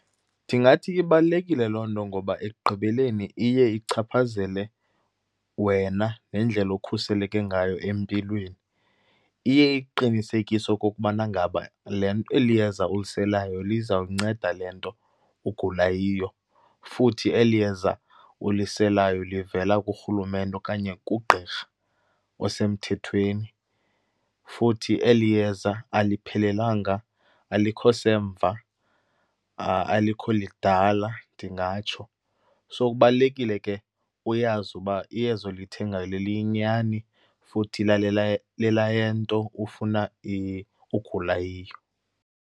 Ndingathi ibalulekile loo nto ngoba ekugqibeleni iye ichaphazele wena nendlela okhuseleke ngayo empilweni. Iye ikuqinisekise okokubana ngaba le eli yeza uliselayo lizawunceda le nto ugula yiyo, futhi eli yeza uliselayo livela kurhulumente okanye kugqirha osemthethweni. Futhi eli yeza aliphelelwanga, alikho semva, alikho lidala, ndingatsho. So kubalulekile ke uyazi uba iyeza olithengayo liyinyani futhi lelayento ufuna ugula yiyo.